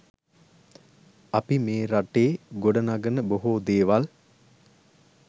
අපි මේ රටේ ගොඩ නගන බොහෝ දේවල්